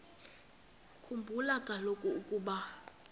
khumbula kaloku ukuba